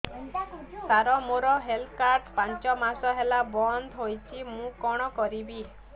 ସାର ମୋର health card ପାଞ୍ଚ ମାସ ହେଲା ବଂଦ ହୋଇଛି ମୁଁ କଣ କରିବି